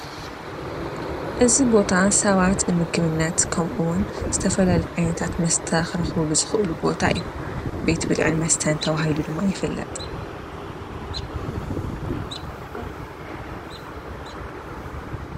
እዚ ቦታ ሰባት ንምግብነት ኸምኡውን ዝተፈላለዩ ዓይነታት መስተ ኽረኽሉ ዝኽእሉ ቦታ እዩ፡፡ ቤት ብዕን መስተን ተባሂሉ ድማ ይፍለጥ፡፡